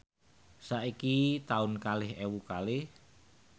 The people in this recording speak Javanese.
saiki taun kalih ewu kalih